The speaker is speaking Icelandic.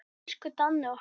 Elsku Danni okkar.